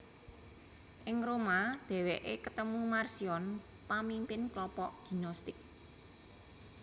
Ing Roma dhèwèké ketemu Marcion pamimpin klompok Gnostik